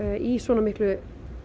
í svona miklu